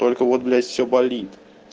только вот блять всё болит